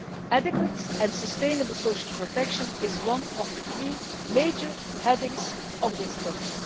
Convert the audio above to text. Adequate and sustainable social protection is one of the three major headings of this pillar.